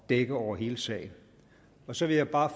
dække over hele sagen så vil jeg bare